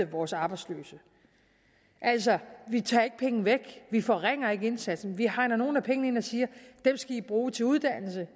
vores arbejdsløse altså vi tager ikke penge væk vi forringer ikke indsatsen men vi hegner nogle af pengene ind og siger dem skal i bruge til uddannelse